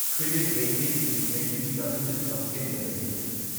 credit rating information services of India limited